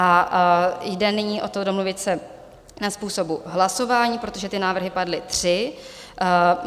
A jde nyní o to domluvit se na způsobu hlasování, protože ty návrhy padly tři.